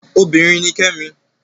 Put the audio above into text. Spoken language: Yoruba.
Obinrin ni Kẹ́mi